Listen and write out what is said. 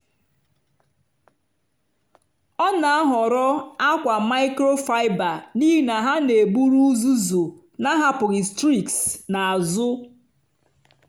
ọ na-ahọrọ akwa microfiber n'ihi na ha na-eburu uzuzu na-ahapụghị streaks n'azụ.